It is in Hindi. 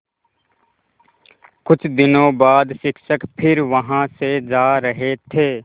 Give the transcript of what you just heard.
कुछ दिनों बाद शिक्षक फिर वहाँ से जा रहे थे